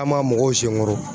An m'a mɔgɔw senkɔrɔ